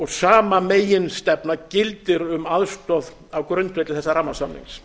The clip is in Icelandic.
sama meginstefna gildir um aðstoð á grundvelli þessa rammasamnings